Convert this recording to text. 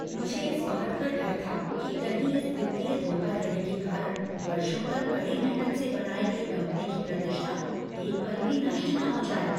मुझे इस बात का डर था कि कहीं इस वित्तीय धोखाधड़ी के कारण वर्षों तक कड़ी मेहनत से बनाई गई कंपनी की प्रतिष्ठा एक पल में नष्ट न हो जाए।